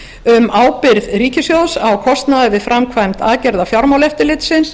um ábyrgð ríkissjóðs á kostnaði við framkvæmd aðgerða fjármálaeftirlitsins